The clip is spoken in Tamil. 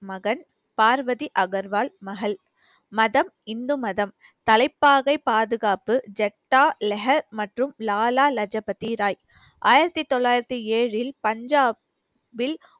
மகன் பார்வதி அகர்வால் மகள் மதம் இந்து மதம் தலைப்பாகை பாதுகாப்பு ஜக்தா லெஹ மற்றும் லாலா லஜு பதி ராய் ஆயிரத்தி தொள்ளாயிரத்தி ஏழில் பஞ்சாப் வில்